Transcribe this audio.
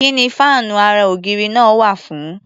Kí ni fáànú ara-ògiri náà wà fún?